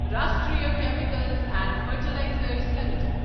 Rashtriya Chemicals and Fertilizers limited